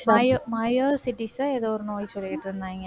myo~ myositis அ ஏதோ ஒரு நோய் சொல்லிட்டு இருந்தாங்க